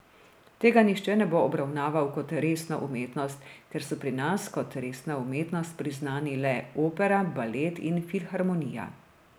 Tega nihče ne bo obravnaval kot resno umetnost, ker so pri nas kot resna umetnost priznani le opera, balet in filharmonija.